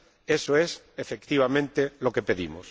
Eso es, efectivamente, lo que pedimos.